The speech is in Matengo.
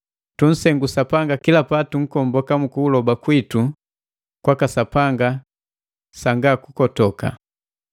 Tunsengu Sapanga kila patunkomboka mu kuloba kwitu kwaka Sapanga sanga kukotoka.